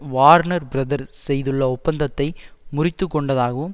Warner brother செய்துள்ள ஒப்பந்தத்தை முறித்து கொண்டதாகவும்